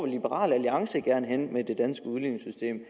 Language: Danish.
liberal alliance gerne hen med det danske udligningssystem